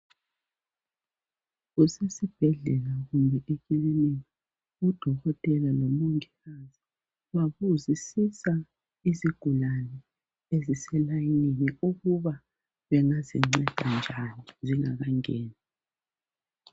KusesiBhedlela kumbe ekilinika uDokotela lo Mongikazi babuzisisa izigulane ezise layinini ukuba bengazinceda njani zingakangeni